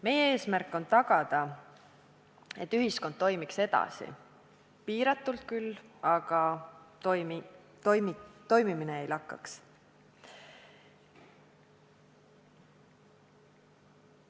Meie eesmärk on tagada, et ühiskond toimiks edasi, küll piiratult, aga siiski toimiks.